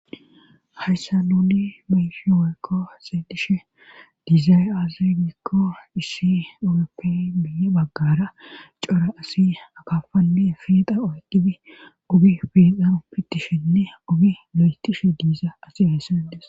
hayssa nuni mayishi woykko xeedishe diizay azi gikko issi ewuroppe bi baggara cora asi akafanne fiixa oyqqibi ubi fiixaro pitishenne obi lo7etishe diiza asi hayssenedes